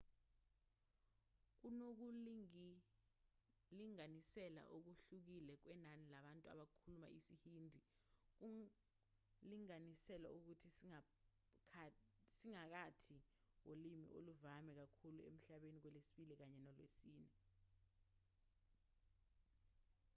kunokulinganisela okuhlukile kwenani labantu abakhuluma isihindi kulinganiselwa ukuthi siphakathi kolimi oluvame kakhulu emhlabeni lwesibili kanye nolwesine